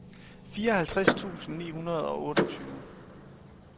fireoghalvtreds tusind ni hundrede og otteogtyve